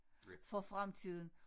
For fremtiden